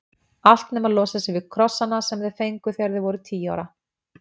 Allt nema að losa sig við krossana sem þau fengu þegar þau voru tíu ára.